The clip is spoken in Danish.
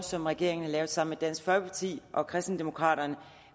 som regeringen har lavet sammen dansk folkeparti og kristendemokraterne